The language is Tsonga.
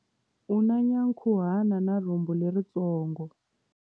U na nyankhuhana na rhumbu leritsongo.